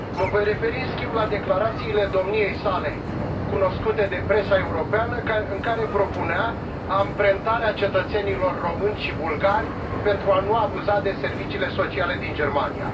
Mă voi referi în schimb la declarațiile domniei sale cunoscute de presa europeană, în care propunea amprentarea cetățenilor români și bulgari, pentru a nu abuza de serviciile sociale din Germania.